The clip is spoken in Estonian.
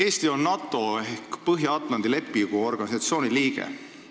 Eesti on NATO ehk Põhja-Atlandi Lepingu Organisatsiooni liige.